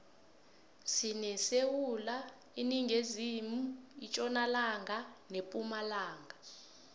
sinesewula iningizimu itjonalanga nepumalanga